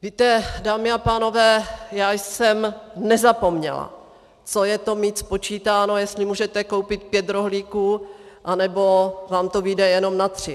Víte, dámy a pánové, já jsem nezapomněla, co je to mít spočítáno, jestli můžete koupit pět rohlíků, anebo vám to vyjde jenom na tři.